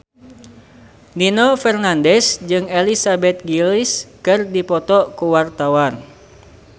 Nino Fernandez jeung Elizabeth Gillies keur dipoto ku wartawan